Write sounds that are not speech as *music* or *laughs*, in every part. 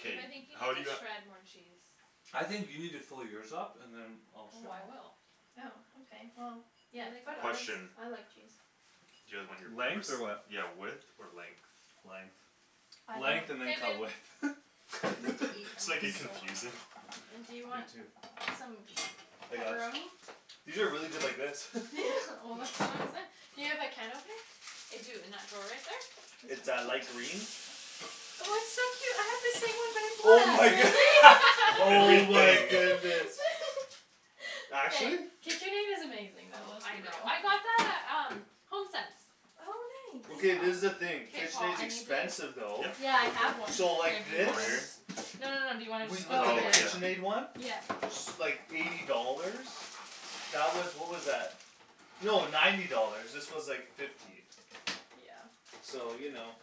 Babe I think you need how'd you to got shred more cheese I think you need to fill yours up, and then Oh I will *inaudible* Oh ok well, Yeah, yeah, put it Question *inaudible* I on like cheese Do you guys want your Length? peppers, Or what yeah width or length? Length Length and then K, cut babe *inaudible* width *laughs* I need to eat, *laughs* *laughs* Just I'm make like it so confusing hungry And do you You want too some I got ch- pepperoni? These are really good like this *laughs* *laughs* Well that's what *inaudible* Do you have a can opener? I do, in that drawer right there? It's a light green Oh it's so cute, I have the same one but Oh my a cat good- Really? *laughs* *laughs* Oh my Everything goodness *laughs* Actually? KitchenAid is amazing though, Oh, let's I be know, real I got that at um, HomeSense Oh I Okay, nice this is the know thing, K Paul, KitchenAid's I need the expensive though Yeah Yeah I have *inaudible* one So Here, like do you this? Over wanna here? No no no, do you wanna We looked Oh at the Oh yeah yeah just *inaudible* KitchenAid one Yep S- like, eighty dollars That was, what was that? No, ninety dollars, this was like fifty Yeah So you know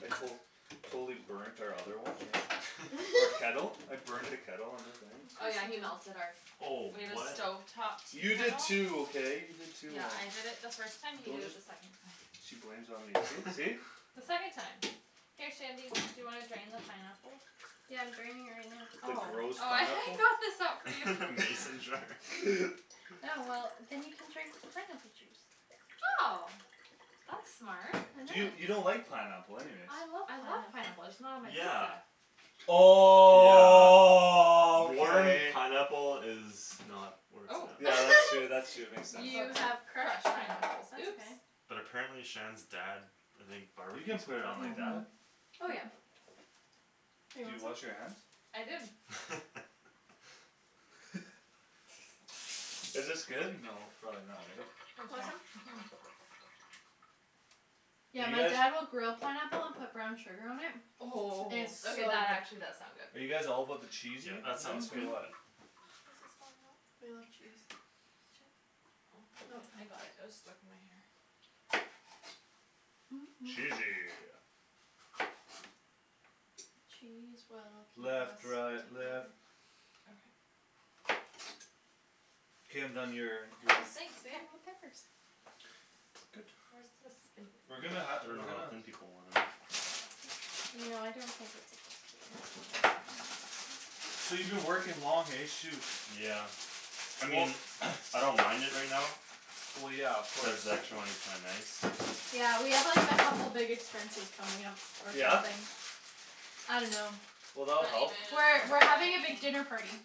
I col- Totally burnt our other one, eh? Our kettle? *laughs* *laughs* I burnt the kettle on the thing Oh Course yeah you he melted our do Oh We had a what stove top tea You did kettle too, okay? You did too Yeah on- I did it first time, you Don't did it just the second time She blames it on me, see see? *laughs* The second time Here Shandy, do you wanna drain the pineapple? Yeah I'm draining it right now The Oh, gross oh I *laughs* I pineapple? got this out for you *laughs* Mason jar *laughs* Yeah well, then you can drink the pineapple juice Oh That's smart I Do you, know you don't like pineapple anyways I love I love pineapple pineapple, I just not on my Yeah pizza Yeah Warm Okay pineapple is not where it's Oh Oh at Yeah that's true *laughs* that's true, makes sense You have crushed pineapples That's oops okay But apparently Shan's dad, I think You barbecues can't put it on like pineapple? that Mhm Oh yeah Here you Did you want wash your hands? some? I did *laughs* *laughs* Is this good? No, probably not right? Want some? Mhm Do Yeah you my guys dad will grill pineapple and put brown sugar on it Oh, It's so okay that good actually does sound Are good you guys all about the Yeah that sounds cheesiness or good Mhm what This is falling off We love cheese Oh, I got it, it was stuck in my hair Mm mm mm Cheesy Cheese will keep us Left right left together Okay K I'm done your, Oh, your thanks babe, more peppers Good Where's the We're spinach? gonna ha- I we're dunno how gonna thin people want them You know I don't think it's a good deal So you been working long, hey? Shoot Yeah I Well mean *noise* I don't mind it right now Well yeah of Cuz course the extra money's kinda nice Yeah we have like a couple big expenses coming up, or Yeah? something I dunno Well that'll help We're Honeymoon, we're having a big wedding dinner party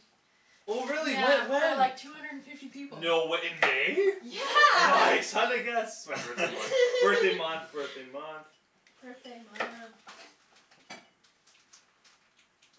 Oh really? Yeah Whe- for when? like two hundred and fifty people No way, in May? *noise* Yeah Nice, how'd I guess? It's my birthday month, *laughs* birthday month *laughs* birthday month Birthday month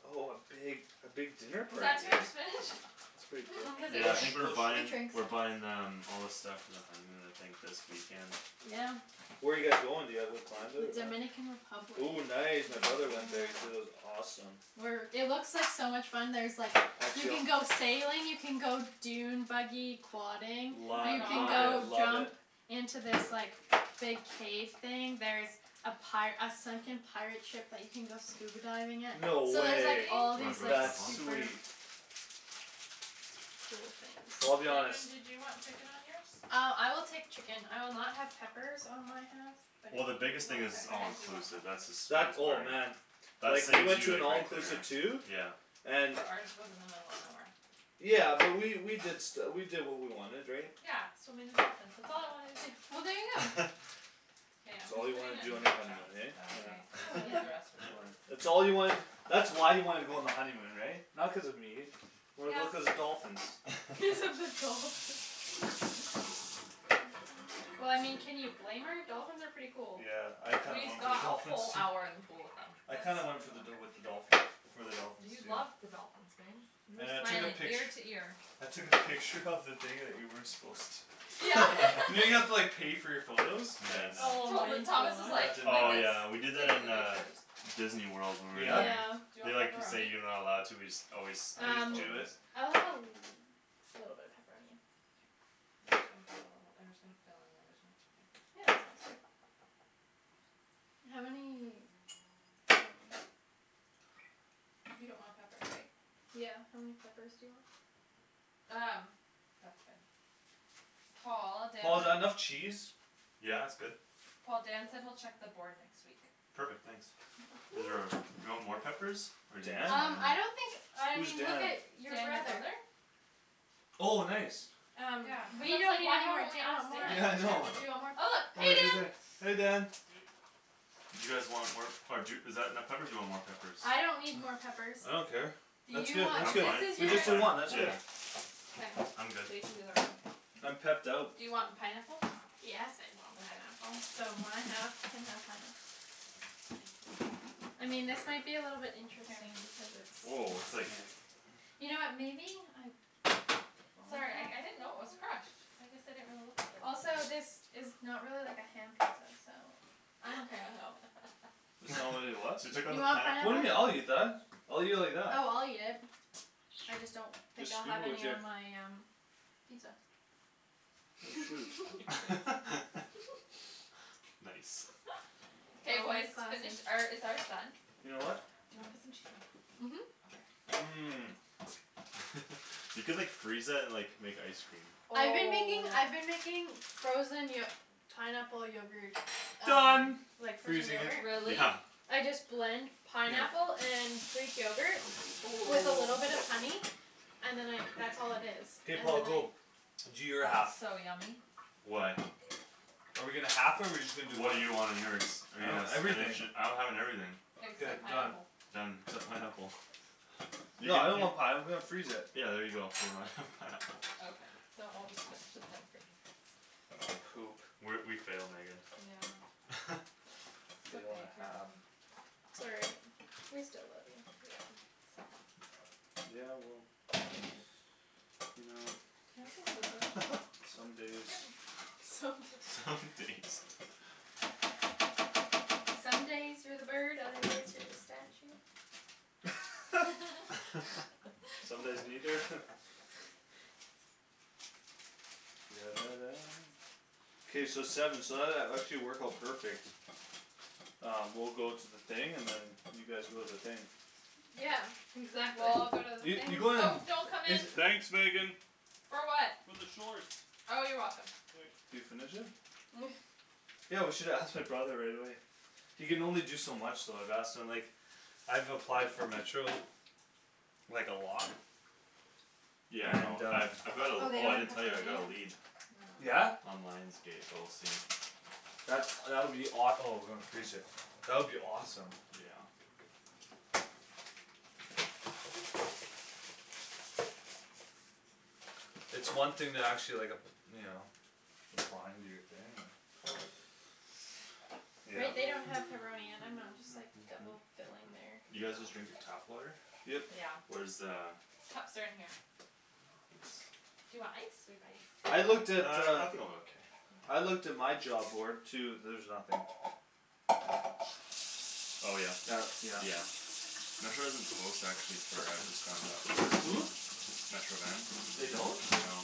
Oh a big, a big dinner Was party, that too eh? much spinach? That's pretty cool, Cuz it it Yeah will I sh- think it we're will shrinks shrink It buying, shrinks we're buying um all the stuff for the honeymoon I think this weekend Yeah Where you guys going, do you have it planned out? Dominican Republic Ooh nice, my brother went there, he said it was awesome We're it looks like so much fun, there's like, you Actually I'll can go sailing, you can go dune buggy quadding Oh my Lo- You can love it, go gosh love it jump into this like, big cave thing, there's a pi- a sunken pirate ship that you can go scuba diving at No So Really? there's like way all Wanna these draw like That's stuff on? super sweet Cool things Well I'll be honest Shandryn do you want chicken on yours? Uh, I will take chicken, I will not have peppers on my half But if Well the you biggest thing want it's Okay, it's all I peppers do want inclusive, that's the peppers That, sweetest oh part man That Like, we saves went to you an like right all-inclusive there too Yeah And But ours was in the middle of nowhere Yeah, but we, we did stu- we did what we wanted, right? Yeah, swimming with dolphins, that's all I wanted to do Well there you go *laughs* K, That's I'm all just you putting wanted to it do in on your big honeymoon, chunks, is that eh? okay? I guess Oh we'll leave the yeah rest for the That's *laughs* boys fine That's all you wanted, that's why you wanted to go on the honeymoon, right? Not cuz of me Wanted to go Yeah cuz of the dolphins Cuz of the *laughs* dolphins Well I mean, can you blame her? Dolphins are pretty cool Yeah, I kinda We went for the got a dolphins whole too hour in the pool with I That's them kinda went for the dol- *noise* with the dolphins, for the dolphins, You too loved the dolphins, babe You were And I took a smiling pict- ear to ear I took a picture of the thing that you weren't supposed to Yeah You know you have to like *laughs* *laughs* pay for your photos? Nice Oh my Tot- Thomas was That gosh like, didn't like Oh happen this, yeah we did that taking in the uh pictures Disneyworld when we were Yeah? Yeah Do there you They want like say pepperoni? you're not allowed to, we just always snipe You just do Um it? photos I'll have a l- little bit of pepperoni, yeah K I'm just gonna put a little, I'm just gonna fill in where there's no chicken Yeah, that sounds good How many, um You don't want peppers, right? Yeah, how many peppers do you want Um, that's good *noise* Paul, Dan Paul is that enough said cheese? Yeah it's good Paul, Dan said he'll check the board next week Perfect, thanks Is there Woo a, do you want more peppers, or do you think Dan? it's Um, fine I here don't think, I Who's mean look Dan? at your Dan, your brother brother? Oh nice Yeah, Um, cuz we I was don't like need why any more, haven't do we you want asked more, do Yeah I Dan? know you want Oh more, look, hey Dan *inaudible* peppers Hey Dan Do you guys want more, or d- is that enough peppers do you want more peppers I don't need more peppers *noise* I don't care Do That's you good that's I'm want, good, this fine, is with you I'm just guys' the fine one, that's yeah good K, I'm good they can do their own I'm pepped out Do you want pineapple? Yes I want Okay pineapple So my half can have pineapple I mean this might be a little bit Here interesting because it's Whoa it's it's like kind of You know what, maybe, I *noise* Sorry, I I didn't know it was crushed I guess I didn't really look at the Also this *noise* is not really like a ham pizza, so *laughs* It's not *laughs* really a what? So you took out You the want pan What do you mean? I'll eat pineapple? that I'll eat it like that Oh I'll eat it I just don't think Just I'll scoop have it with any your on my um pizza Oh shoot *laughs* *laughs* *laughs* Nice Nice K boys, Always finish, classy or is ours done? Your what? Do you wanna put some cheese on top? Mhm Okay Mm *laughs* You could like freeze that and like, make ice cream I've been making I've been Oh making frozen yo- pineapple yogurt Done from Like like frozen frozen yogurt. yogurt Really? Yeah I just blend Yeah pineapple and greek yogurt Oh with a little bit of honey And then I that's all it is *inaudible* K Paul, go Do your half That's so yummy Why? Are we gonna half it or we just gonna do What one? do you want on yours? Are you I have gonna everything spinach it, I'm having everything Like *inaudible* The done pineapple Done, except pineapple You Yeah I can, don't you want pineapple, let's freeze it Yeah there you go, so we're not having pineapple Okay, so I'll just finish it then, for you guys We're, we *inaudible* failed Megan Yeah *laughs* It's Fail and okay, a here half man Sorry We still love you Yeah, somewhat Yeah well, you know Can I have the scissors? *laughs* Some days Yep Some Some days days Some days you're the bird, other days you're the statue *laughs* *laughs* *laughs* Some What? days neither? K so seven so that that actually worked out perfect Uh, we'll go to the thing, and then you guys go to the thing Yeah We Exactly all go to the Yeah you things go to Oh, don't come the, is in uh- For what? Oh you're welcome Can you finish it? Mm Yeah, we should have asked my brother right away He can only do so much though, I've asked him like, I've applied for Metro, like a lot Yeah I know, And uh I've I've got a, Oh they oh I don't didn't have tell you, I pepperoni got a yet? lead No Yeah? On Lions Gate, but we'll see That's, that would be awe- oh *inaudible* that would be awesome Yeah It's one thing to actually like ap- you know, apply and do your thing, uh They Yep they don't have pepperoni and I'm not just like double filling their *noise* You y'know guys just drinking tap water? Yep Yeah Where's the Cups are in here Do Thanks you want ice? We have ice Uh, I looked at uh, I think I'm okay I looked at my job board too, there's nothing Oh yeah? Uh, yeah Yeah Metro doesn't post actually for, I just found out Hm? *inaudible* Metro Van? They don't? No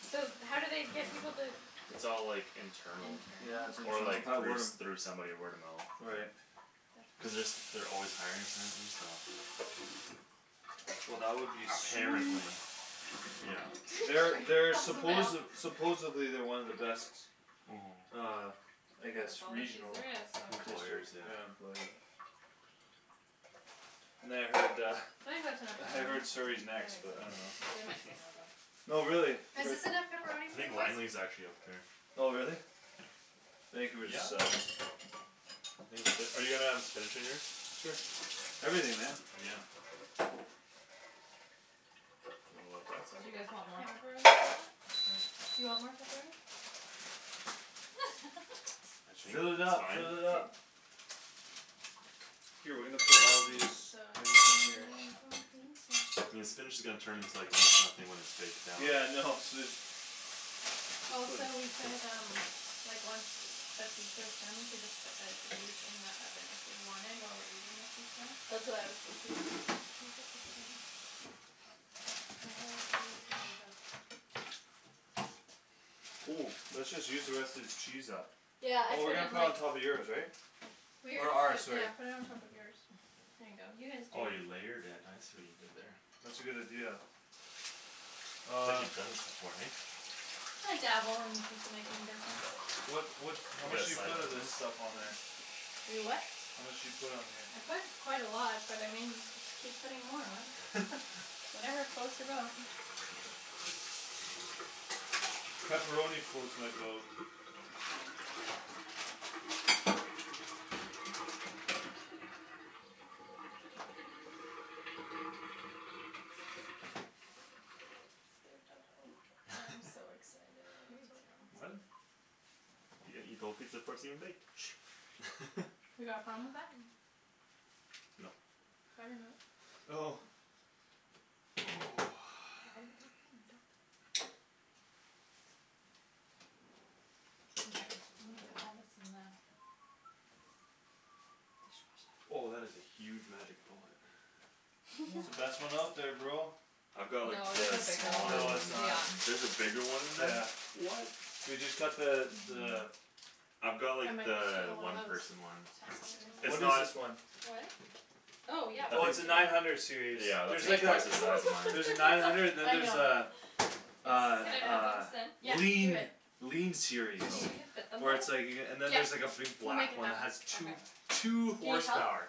So how do they get people to It's all like, internal Yeah, Internal? it's Or internal, or like by through word of s- through somebody word of mo- mouth Right That's Cuz they're brutal s- they're always hiring apparently, so Well that would be Mm sweet Apparently Yeah *inaudible* They're they're *laughs* That was a supposed, fail supposedly they're one of the best, Mhm uh I And guess that's all the cheese regional there is, so *inaudible* Employers, yeah yeah, employer And then I heard uh, I think that's enough I pepperoni heard Surrey's I next think but so too, um they might say no *laughs* though No really, but Is this enough pepperoni I for you think boys? Langley's actually up there Oh really? Yeah Vancouver sucks Are you gonna have spinach on yours? Sure, everything, man Yeah You want more on that Do you guys side? want more pepperoni on Yep that, or? I think Fill it that's up, fine fill it up K we're I'm gonna put all of these *inaudible* so in here excited for pizza I mean the spinach is gonna turn into almost nothing when it's baked down Yeah I know, *inaudible* Also we could um Like once the pizza's done we could just put the cookies in the oven if we wanted, while we're eating the pizza That's what I was thinking Think this is done My whole *inaudible* gonna be *inaudible* Mm, let's just use the rest of this cheese up Yeah, I Well we're put gonna it put it on on top of yours, right Or Yeah, ours, sorry yeah put it on top of yours There you go, you guys Oh do you it layered it, I see what you did there That's a good idea It's like Uh you've done this before, eh? I dabble in the pizza making business What what You how much got do you side put of this business? stuff on there? You what? How much do you put on here? I put quite a lot, but I mean y- just keep putting more on *laughs* Whatever floats your boat Pepperoni floats my boat *inaudible* I'm so *laughs* *laughs* Me excited for too What? pizza You gonna eat the whole pizza before it's even baked *laughs* You got a problem with that? No *inaudible* Oh *inaudible* Okay, I'm gonna put all this in the Oh that dishwasher is a huge magic bullet It's the best Yeah one *laughs* out there, bro I've got like No, there's a the bigger one, smaller No it's one not yeah There's a bigger one than Yeah that? What? We just got the, the I've got like Yeah *inaudible* the one one of those person one It's What is not this *inaudible* one? Oh Oh yeah, yeah I Oh it's think please a do nine hundred *inaudible* series, Yeah that's there's Oh my like like a twice the size of gosh, mine look at There's a their nine pizza hundred and then I there's a, know a, It's Can like I a that put? *inaudible* Yeah, do lean it lean series Do you think we can fit Oh them Where both? it's like you c- and then there's like a Yeah, big we'll make black it one that has happen two, Okay two Do you need help? horsepower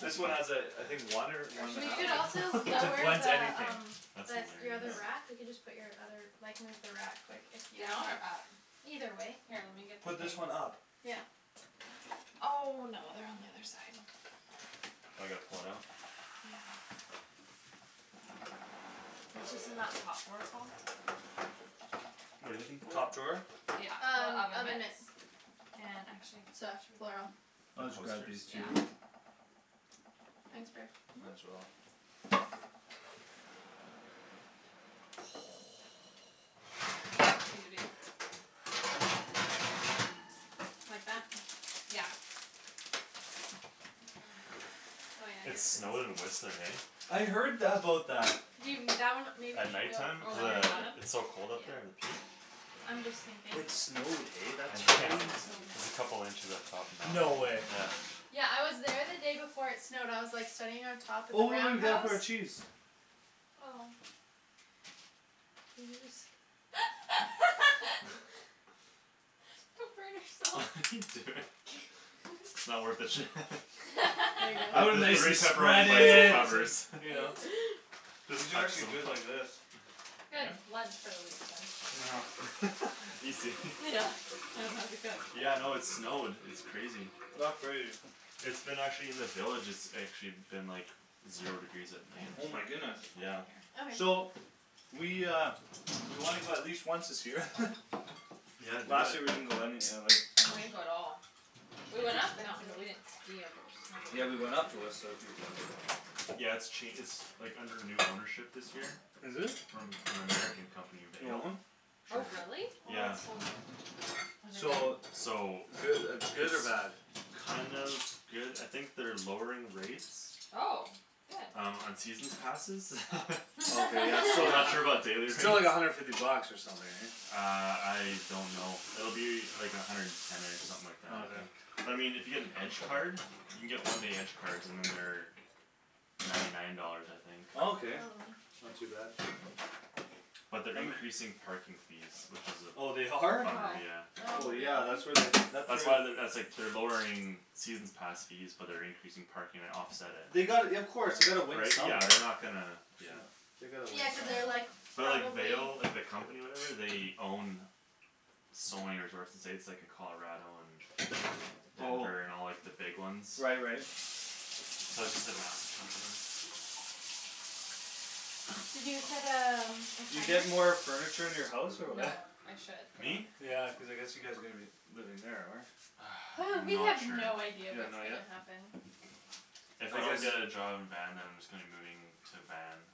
This one What has a, I think one or one Or and a should We we do half could also like, maybe, it j- layer blends the *laughs* the anything um, That's the s- the hilarious other wrap, we Yeah can just put your other, like move the wrap quick if you Down or up? *inaudible* Either way Here, let me get the Put things this one up Yeah Oh no, they're on the other side Now I gotta pull it out? Yeah It's just in that top drawer, Paul What're you looking for? Top drawer? Yeah, the Um, oven oven mitts mitts And actually *inaudible* *inaudible* The *inaudible* These coasters? Yeah two Thanks babe Might as well Mhm *noise* Need a big Like that? Yeah Oh yeah I It guess it's snowed in Whistler, eh I heard th- about that You that one maybe At should night go time, Oh, cuz on the uh, bottom? underneath it's so cold up there Yeah at the peak? I'm just thinking It snowed, eh? That's This Yeah crazy place is so There's a messy. couple inches up top now, No way yeah Yeah I was there the day before it snowed, I was like sitting on top of the Oh *inaudible* Roundhouse? our cheese Oh Couldn't you just *laughs* Come burn *laughs* What yourself are you doing? It's not worth *laughs* it Shan There you The I would go the *laughs* nicely three spread pepperoni bites it it, and covers *laughs* you know But Just these are actually good like this *inaudible* Good, lunch for the week then Know *laughs* Easy Yeah, I don't have to cook Yeah no it snowed, it's crazy That's crazy It's been actually in the villages it's actually been like Zero degrees at K, night I'm Oh just my gonna throw goodness all these Yeah all over Okay here So We uh, we wanna go at least once this year *laughs* Yeah do Last it year we didn't go any uh, like We didn't go at all We That's went up the mountain but we expensive didn't ski or Yeah we went snowboard up to Whistler a few times Yeah it's ch- it's like, under new ownership this year Is it? From an American company, You want Vail? one? Oh really? Oh Yeah it's so good Is it good? So So Goo- good It's or bad? kind of good, I think they're lowering rates Oh, good Um, on seasons passes *laughs* Oh Oh okay yeah, so I'm th- not sure about *laughs* *laughs* daily rates still like a hundred fifty bucks or something eh Uh, I don't know, it'll be like a hundred and ten-ish, something like that Okay But I mean if you get an edge card? You can get one day edge cards and then they're Ninety nine dollars I think Oh Okay, not too bad But they're I'm a increasing parking fees, which is Oh they a are? bummer, Oh yeah Oh Oh yeah, really? that's where they, that's where That's why they're, that's like they're lowering seasons pass fees, but they're increasing parking to offset it They gotta y- of course, they gotta win Right, yeah somewhere they're not gonna, yeah No They gotta win Yeah cuz they're like, some But like probably Vail, like the company or whatever they own So many resorts in the States, like in Colarado and Oh Denver and all like the big ones Right right So it's just a massive company You said um, *inaudible* You get more furniture in your house or No, what I should Me? though Yeah, cuz I guess you guys are gonna be living there, or? Hey, *noise* we Not have sure no idea You don't what's know gonna yet? happen If If I I guess don't get a job in Van then I'm just gonna be moving to Van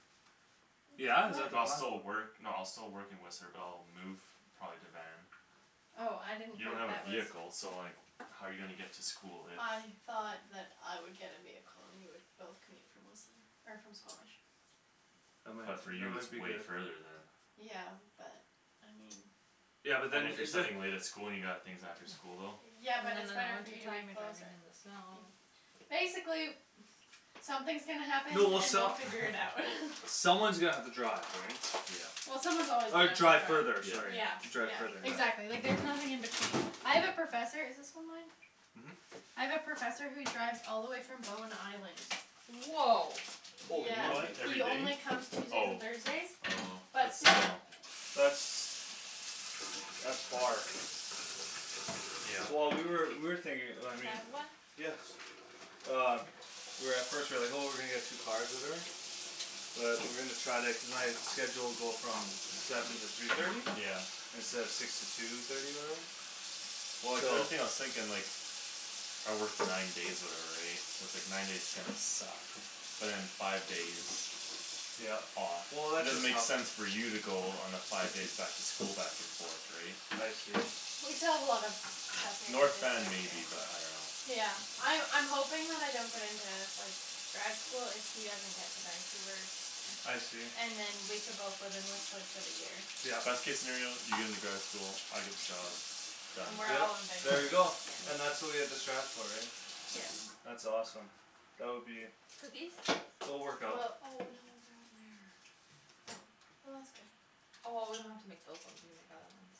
Yeah? Is that the But I'll plan? still work, no I'll still work in Whistler but I'll move probably to Van Oh, I didn't You don't think have a that was vehicle, so like how you gonna get to school if I thought that I would get a vehicle and we could both commute from Whistler, or from Squamish That might, But for that you it's might be way good further then Yeah, but, I mean Yeah but And then, if you're it- the studying late at school and you got things after school, though Yeah And then but in it's the better for winter you to be time you're closer driving in the snow Basically *noise* something's gonna happen No well and we'll some- figure it out *laughs* *laughs* Someone's gonna have to drive, right Yeah Yeah someone's always gonna Or have to drive further, drive sorry Yeah, Yeah Drive yeah further, exactly, like yeah there's nothing in between I have a professor, is this one mine? Mhm I have a professor who drives all the way from Bowen Island Whoa Yeah, Holy What, monkey he every only day? comes Tuesdays and Oh Thursdays, Oh, but but still still That's That's far Yeah Well we were, we were Can thinking I I mean have one? Um We were at first, we were like oh we're gonna get two cars or whatever But we're gonna try to, cuz my schedule will go from seven to three thirty Yeah Instead of six to two thirty or whatever Well like the So only thing I was thinking like I work nine days or whatever right, so it's like nine days are gonna suck But then five days Yeah off Well It that's doesn't just make how sense for you to go on a five days back to school back and forth right I see We still have a lot of stuff we have North Van maybe but I *inaudible* dunno Yeah, I- I'm hoping that I don't get into like, grad school if he doesn't get to Vancouver I see And then we can both live in Whistler for the year Yeah Best case scenario, you get into grad school, I get the job Then Done we're Yeah, all in Vanco- there we go yeah And that's what we have to strive for, right Yeah That's awesome That would be Cookies? It'll work Well Oh no out they're in there Oh, well that's good Oh well we don't have to make those ones, we can make the other ones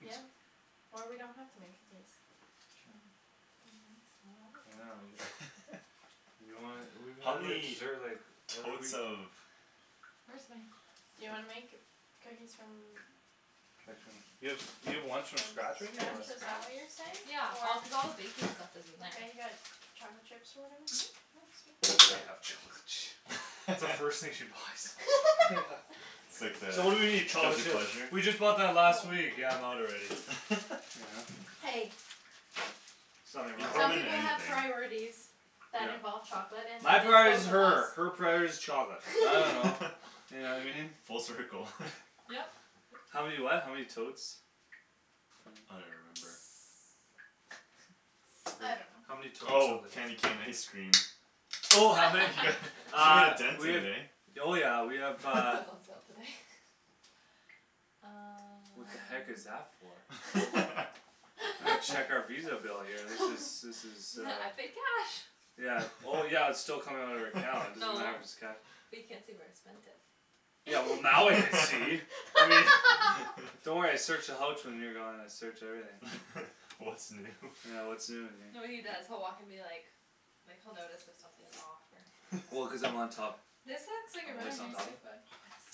Yep, or we don't have to make cookies True Be nice I Oh I will dunno, you *inaudible* *laughs* You don't wanna, we, How how do I many desert like totes *inaudible* of Where's my Do you wanna make cookies from Like from, you have, you have From ones scratch, from scratch right *inaudible* here or what is that what you're Scratch? Yeah, all cuz all the saying? Or baking stuff *inaudible* You is in there got chocolate chips or whatever? That's the first thing she *laughs* buys Yeah *laughs* It's like the So what do we need? Chocolate guilty chips pleasure? We just bought that last Oh week, yeah I'm out already *laughs* Yeah Hey There's nothing They throw wrong Some with them in people have anything priorities that involve Yeah chocolate and when My priority's it's both of her, her us priority's chocolate, I dunno *laughs* You know I mean? *laughs* Full circle *noise* Yep How many what? How many totes I don't Mm even remember *noise* I How many don't know totes Oh, candy something cane ice cream Oh how many Yeah, you made Uh, a dent we in have it eh Oh yeah we have That uh was *laughs* on sale today *laughs* Uh What the heck is that for? *laughs* I'm gonna check our Visa bill here, this is this *laughs* *laughs* is uh N- I paid cash Yeah, oh yeah but it's still coming out of our account, doesn't No matter if it's *laughs* cash But you can't see where I spent it Yeah well now I can see *laughs* I mean *laughs* Don't worry I search the houch when you're gone, I search everything *laughs* What's new Yeah what's new in here No what he does, he'll walk in be like, like he'll notice if something's off or Well cuz I'm *laughs* on top This looks like a I'm really always on nice top cookbook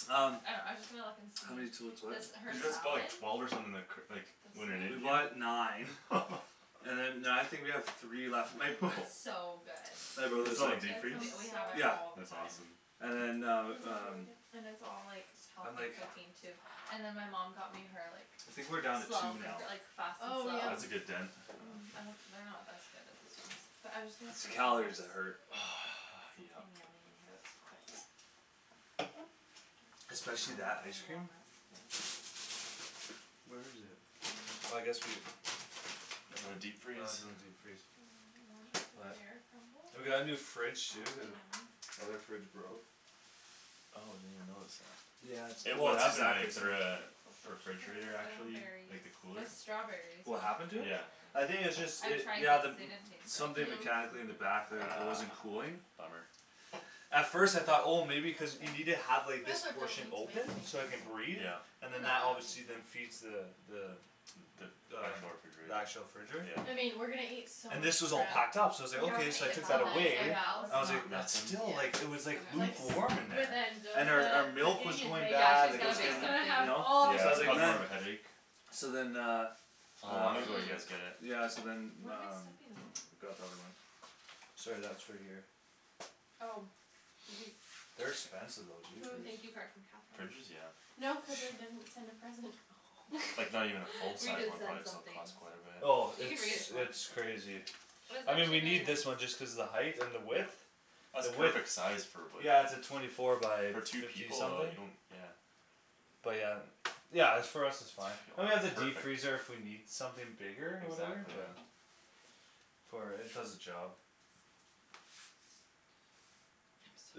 Um I know, I was just gonna look and see, How many totes what this Cuz her you guys bought salad like twelve or something like c- like This We bought one? *inaudible* nine *laughs* And then now I think we have three left, my b- It's *laughs* so good My Put brother's some in like deep That And freeze? we sounds so we have it good Yeah all the That's time awesome And then That uh, sounds really um good And it's all like And healthy like cooking too And then my mom got me her like, I think we're down to two slow now cooker, like fast and Oh yum slow? That's a good I know dent Mm, I don't, they're not as good as these ones, but I'm just gonna It's see if the she calories has that hurt *noise* Yep Something yummy in here that's quick Hmm Especially that don't ice have cream walnuts, but Where is it? Oh I guess we have In the Oh it's deep freeze? in the deep freeze Banana warm up pear We got a new crumble? fridge That'd too, cuz be o- yummy Other fridge broke Oh I didn't even notice that Yeah it's, well What it's happened to exactly it, the same uh, the Poached pears, refrigerator I don't have actually, berries like the I cooler? have strawberries, but What not happened to it? Yeah I raspberries think it's just I've it, tried yeah the m- these, they didn't taste very Something good Mm- No? mechanically in the Ah, back t- mm it wasn't cooling bummer At first I thought oh That's maybe cuz okay, you need I to guess have like I this don't portion need to open, so make it can any breathe Yeah And then No, that I don't obviously need then to feeds the the The The actual the refrigerator actual fridge Yeah I mean, we're gonna eat so And much this was all crap packed up, so I Yeah was like we're gonna okay, eat so I at Val's, took that oh Tonight away at I yeah was Val's? like, let's Mm, not it then nothing? Yeah still like, it was like Like s- okay lukewarm in with there And our our Angelica milk was cooking and going baking, Yeah, bad, she's like it gonna was bake she's getting, gonna something have you Ah know, all the so Yeah I was it's like goodies caused man more of a headache So then uh How Uh long ago you guys get it? Mm Yeah so then What am I um, stepping on? got the other one Sorry that's for here Oh Did you, They're expensive though, jeepers thank you card from Catherine Fridges? Yeah No cuz I didn't send a present Oh Like not even a full *laughs* We size did one send probably still something costs quite a bit Oh You it's can read it if you want it's crazy It was I mean we actually very need this nice one just cuz the height and the width That's The width perfect size, for what Yeah it's a twenty four by For two fifty people uh, something you don't, yeah But yeah, yeah it's for us it's fine And we have the Perfect deep freezer if we need something bigger, or whatever, Exactly yeah yeah For it does the job